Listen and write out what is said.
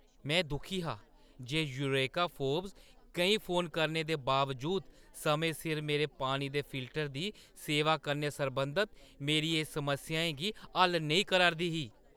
में दुखी हा जे यूरेका फोर्ब्स केईं फोन करने दे बावजूद समें सिर मेरे पानी दे फिल्टर दी सेवा कन्नै सरबंधत मेरियें समस्याएं गी हल नेईं करा 'रदी ही।